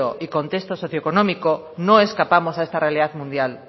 y contexto socioeconómico no escapamos a esa realidad mundial